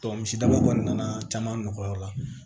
misidaba kɔni nana caman nɔgɔya o la